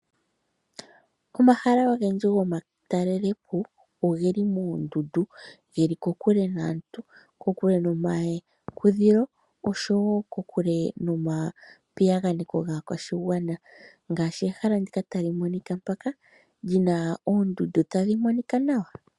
Omahala ogendji gomatalelo po ogeli moondundu, geli kokule naantu, kokule nomakudhilo oshowo kokule nomapiyaganeko gaakwashigwana ngaashi ehala ndika tali monika mpaka, lyina oondundu tadhi monika nawa.